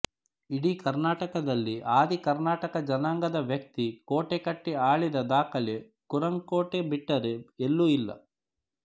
ಇಡೀ ಕರ್ನಾಟಕದಲ್ಲಿ ಆದಿ ಕರ್ನಾಟಕ ಜನಾಂಗದ ವ್ಯಕ್ತಿ ಕೋಟೆ ಕಟ್ಟಿ ಆಳಿದ ದಾಖಲೆ ಕುರಂಕೋಟೆ ಬಿಟ್ಟರೆ ಎಲ್ಲೂ ಇಲ್ಲ